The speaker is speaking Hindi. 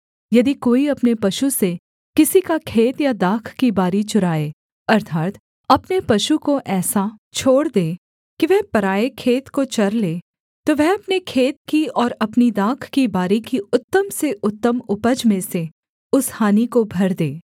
यदि कोई अपने पशु से किसी का खेत या दाख की बारी चराए अर्थात् अपने पशु को ऐसा छोड़ दे कि वह पराए खेत को चर ले तो वह अपने खेत की और अपनी दाख की बारी की उत्तम से उत्तम उपज में से उस हानि को भर दे